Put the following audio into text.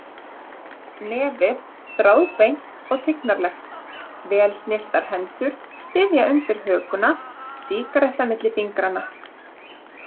Nefið þráðbeint og tignarlegt, vel snyrtar hendur styðja undir hökuna, sígaretta milli fingranna.